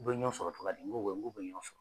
U bɛ ɲɔgɔn sɔrɔ tɔgɔya di, k'u bɛ ɲɔgɔn sɔrɔ.